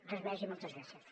res més i moltes gràcies